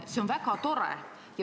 See on väga tore.